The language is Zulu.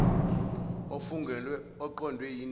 ofungelwe oqondwe yindima